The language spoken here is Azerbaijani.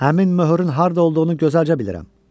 Həmin möhürün harda olduğunu gözəlcə bilirəm.